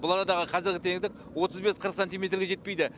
бұл арадағы қазіргі тереңдік отыз бес қырық сантиметрге жетпейді